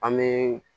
An bɛ